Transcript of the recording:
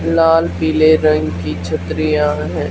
लाल पीले रंग की छतरियां हैं।